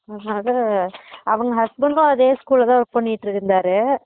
அதான் அவங்க husband டும் அதே school ல work பண்ணிட்டு இருந்தாரு